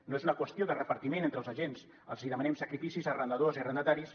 no és una qüestió de repartiment entre els agents els demanem sacrificis a arrendadors i a arrendataris